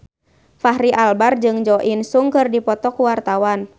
Fachri Albar jeung Jo In Sung keur dipoto ku wartawan